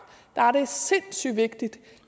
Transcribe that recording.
er det sindssygt vigtigt